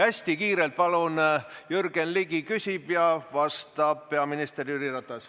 Hästi kiirelt, palun, Jürgen Ligi küsib ja vastab peaminister Jüri Ratas.